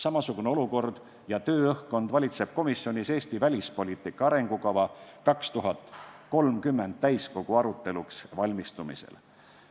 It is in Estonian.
Samasugune olukord ja tööõhkkond valitseb komisjonis "Eesti välispoliitika arengukava 2030" täiskogu aruteluks valmistumisel.